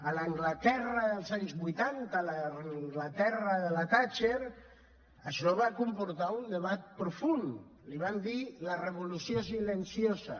a l’anglaterra dels anys vuitanta l’anglaterra de la thatcher això va comportar un debat profund li van dir la revolució silenciosa